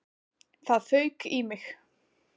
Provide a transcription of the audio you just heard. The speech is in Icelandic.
Það fauk í mig.